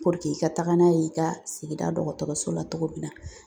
i ka taa n'a ye i ka sigida dɔgɔtɔrɔso la cogo min na